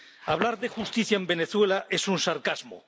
Hablar de justicia en Venezuela es un sarcasmo.